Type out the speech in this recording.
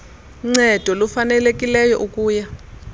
ncedo lufanelekileyo ukuya